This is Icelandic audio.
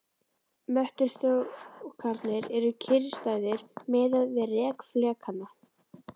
Möttulstrókarnir eru kyrrstæðir miðað við rek flekanna.